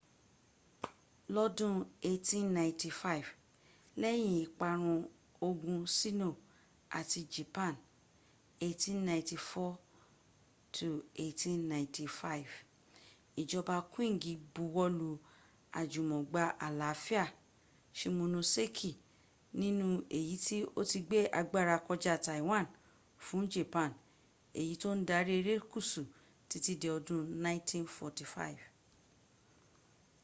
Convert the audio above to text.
lọ́dún 1895 lẹ́yìn ìparun ogun sino àti japan 1894-1895 ìjọba qing buwọ́lu àjùmọgbà àláfíà shimonoseki nínú èyí tí ó ti gbé agbára kọja taiwan fún japan èyí tó ń darí erékùsù títí dí odún 1945